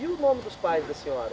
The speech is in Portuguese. E o nome dos pais da senhora?